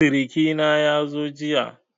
Siriki na yazo jiya.